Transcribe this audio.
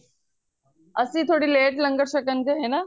ਅੱਸੀ ਥੋੜੀ late ਲੰਗਰ ਛਕਣ ਗਏ ਨਾ